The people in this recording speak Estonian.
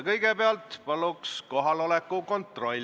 Kõigepealt teeme palun kohaloleku kontrolli.